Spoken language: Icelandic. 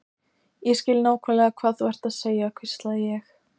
Ég skil nákvæmlega hvað þú ert að segja hvíslaði ég.